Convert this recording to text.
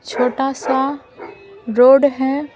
छोटा सा रोड है ।